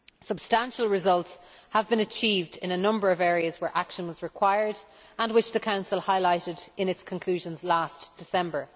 Substantial results have been achieved in a number of areas where action was required and which the Council highlighted in its conclusions last December.